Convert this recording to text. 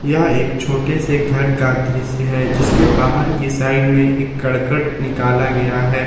यह एक छोटे से घर का दृश्य है जिसके बाहर की साइड में एक कड़कट निकाला गया है।